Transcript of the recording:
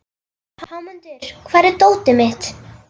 Hámundur, hvar er dótið mitt?